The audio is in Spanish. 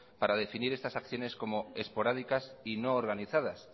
para definir estas acciones como esporádicas y no organizadas